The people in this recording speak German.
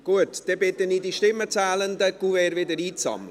– Gut, dann bitte ich die Stimmenzählenden, die Kuverts wieder einzusammeln.